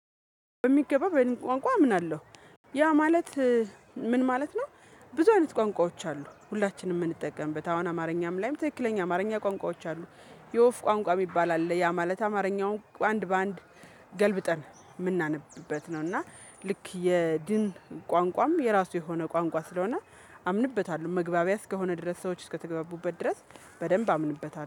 በሚገባ በሊት ቋንቋ አምናለሁ። ያ ማለት ምን ማለት ነው? ብዙ አይነት ቋንቋዎች አሉ ሁላችንም የምንጠቀምበት አሁን አማርኛም ላይም ትክክለኛ አማርኛ ቋንቋዎች አሉ። የወፍ ቋንቋ የሚባል አለ ያ ማለት አማርኛውን አንድ በአንድ ገልብጠን የምናነብበት ነው። እና ልክ የድን ቋንቋም የራሱ የሆነ ቋንቋ ስለሆነ አምንበታለሁ። መግባቢያ እስከሆነ ድረስ ሰዎች እስከተግበቡበት ድረስ በደንብ አምንበታለሁ